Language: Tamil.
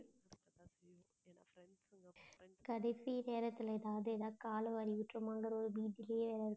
கடைசி நேரத்துல ஏதாவதுன்னா கால வாரி விட்டுடுமோங்குற ஒரு பீதியிலேயே இருக்கு